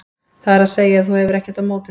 það er að segja ef þú hefur ekkert á móti því.